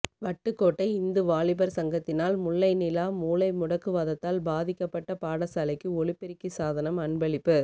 வட்டுக்கோட்டை இந்து வாலிபர் சங்கத்தினால் முல்லை நிலா மூளை முடக்குவாதத்தால் பாதிக்கபட்ட பாடசாலைக்கு ஒலிபெருக்கி சாதனம் அன்பளிப்பு